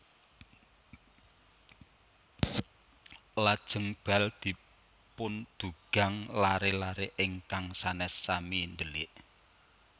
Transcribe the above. Lajèng bal dipundugang laré laré ingkang sanes sami ndèlik